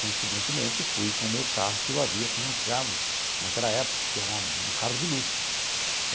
Coincidentemente, eu fui com o meu carro que eu havia financiado naquela época, que era um carro de luxo.